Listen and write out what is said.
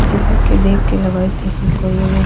इ चित्र के देख के लगएत हेय की कोई एगो --